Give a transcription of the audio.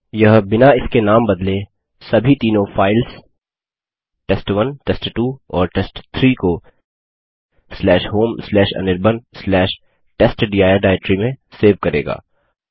यह बिना इनके नाम बदले सभी तीनों फाइल्स test1टेस्ट2 और टेस्ट3 को homeanirbantestdir डाइरेक्टरी में सेव करेगा